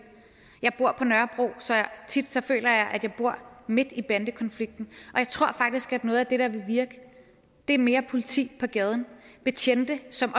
jeg bor på nørrebro så tit føler jeg at jeg bor midt i bandekonflikten og jeg tror faktisk at noget af det der vil virke er mere politi på gaden betjente som